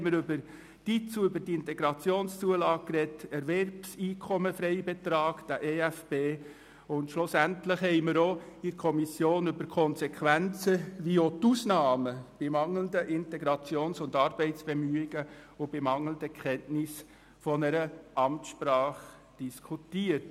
Zudem haben wir über die Integrationszulage (IZU) diskutiert, über den Erwerbseinkommensfreibetrag (EFB) und schlussendlich auch über die Konsequenzen sowie die Ausnahmen bei mangelnden Integrations- und Arbeitsbemühungen und bei mangelnden Kenntnissen einer Amtssprache.